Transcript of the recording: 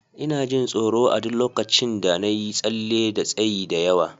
Ina jin tsoro a duk lokacin da na yi tsalle da tsayi da yawa.